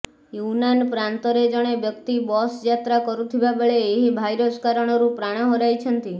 Yunnan ପ୍ରାନ୍ତରେ ଜଣେ ବ୍ୟକ୍ତି ବସ୍ ଯାତ୍ରା କରୁଥିବା ବେଳେ ଏହି ଭାଇରସ କାରଣରୁ ପ୍ରାଣ ହରାଇଛନ୍ତି